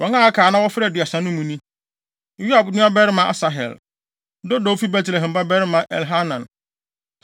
Wɔn a aka a na wɔfra Aduasa no mu no ni: Yoab nuabarima Asahel; Dodo a ofi Betlehem babarima Elhanan;